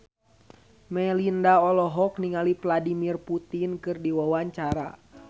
Melinda olohok ningali Vladimir Putin keur diwawancara